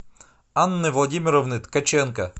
анны владимировны ткаченко